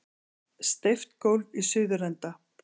Steypt gólf í suðurenda.